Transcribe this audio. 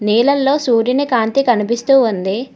నీళ్లలో సూర్యుని కాంతి కనిపిస్తూ ఉంది.